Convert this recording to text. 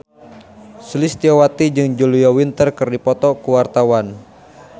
Sulistyowati jeung Julia Winter keur dipoto ku wartawan